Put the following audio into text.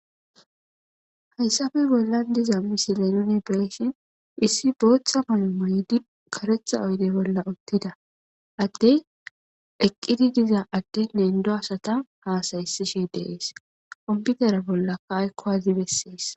Hayssafe bollan diza misile nuni beeshin issi bootha mayu maydi karetha oydey bolla uttida addey eqqidi diza adde nendo asata haasayisishe deees komputera bollakaaykkowazi besseessa.